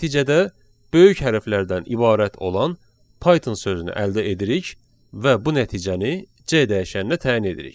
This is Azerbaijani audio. Nəticədə böyük hərflərdən ibarət olan Python sözünü əldə edirik və bu nəticəni C dəyişəninə təyin edirik.